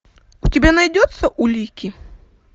у тебя найдется улики